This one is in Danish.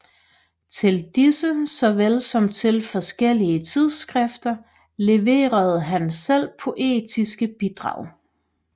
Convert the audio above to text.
Til disse så vel som til forskellige tidsskrifter leverede han selv poetiske bidrag